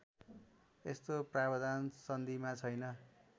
यस्तो प्रावधान सन्धिमा छैन